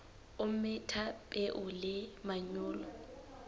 o metha peo le manyolo